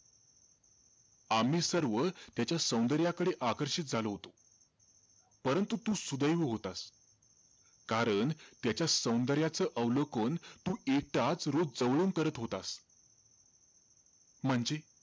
आम्ही सर्व त्याच्या सौंदर्याकडे आकर्षित झालो होतो. परंतु तो सुदैवी होता. कारण त्याच्या सौंदर्याचं अवलोकन तो एकटाचं रोज जवळून करत होता. म्हणजे?